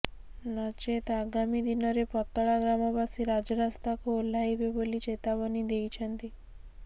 ନଚେତ୍ ଆଗାମୀ ଦିନରେ ପତଳା ଗ୍ରାମବାସୀ ରାଜରାସ୍ତାକୁ ଓହ୍ଲାଇବେ ବୋଲି ଚେତାବନୀ ଦେଇଛନ୍ତି